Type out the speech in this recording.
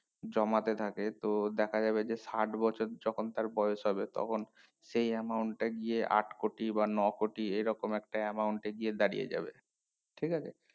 জামাতে থাকে তো দেখা যাবে যে ষাট বছর যখন তার বয়েস হবে তখন সেই amount টাই গিয়ে আট কোটি বা নকোটি এই রকম একটা amount এ গিয়ে দাঁড়িয়ে যাবে ঠিক আছে